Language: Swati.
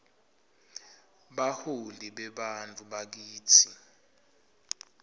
baholi bebantfu bakitsi